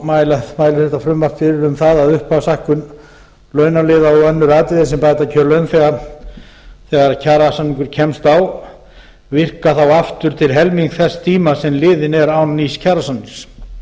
mælir þetta frumvarp fyrir um það upphafshækkun launaliða og önnur atriði sem bæta kjör launþega þegar kjarasamningur kemst á virki þá aftur til helmings þess tíma sem liðinn er án nýs kjarasamnings virka